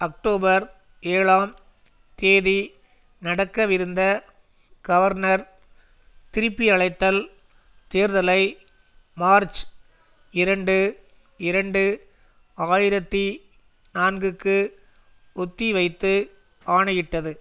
October ஏழாம் தேதி நடக்கவிருந்த கவர்னர் திருப்பியழைத்தல் தேர்தலை மார்ச் இரண்டு இரண்டு ஆயிரத்தி நான்குக்கு ஒத்திவைத்து ஆணையிட்டது